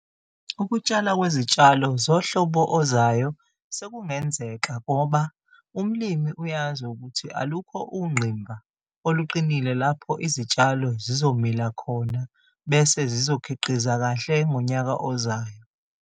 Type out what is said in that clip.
Ukutshala kwezitshalo zohlobo ozayo sekungenzeka ngoba umlimi uyazi ukuthi alukho ungqimba oluqinile lapho izitshalo zizomila khona bese zizokhiqiza kahle ngonyaka ozayo.